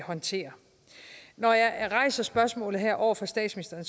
håndtere når jeg rejser spørgsmålet her over for statsministeren